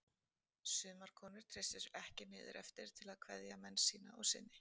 Sumar konur treystu sér ekki niður eftir til að kveðja menn sína og syni.